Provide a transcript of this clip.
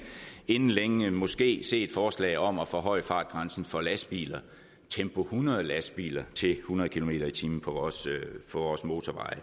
inden længe måske se et forslag om at forhøje fartgrænsen for lastbiler tempo hundrede lastbiler til hundrede kilometer per time på vores motorveje